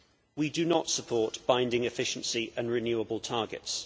We do not support binding efficiency and renewable targets.